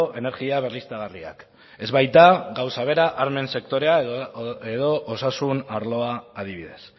energia berriztagarriak ez baita gauza bera armen sektorea edo osasun arloa adibidez